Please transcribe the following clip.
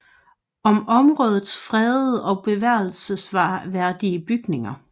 Om områdets fredede og bevaringsværdige bygninger